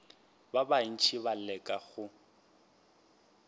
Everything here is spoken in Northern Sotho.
ba bantši ba leka go